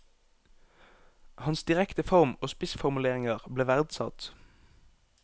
Hans direkte form og spissformuleringer ble verdsatt.